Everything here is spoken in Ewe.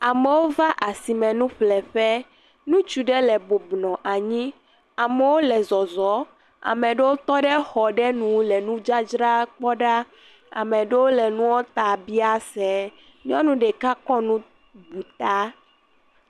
Amewo va asime nuƒleƒe ŋutsu aɖe bɔbɔ nɔ anyi amewo le zɔzɔm amewo tɔɖe xɔ aɖe nu le nudzadzra kpɔm ɖa ame aɖewo le nua ta biam se nyɔnu ɖeka kɔ nu bu ta